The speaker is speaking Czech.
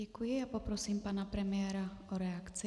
Děkuji a poprosím pana premiéra o reakci.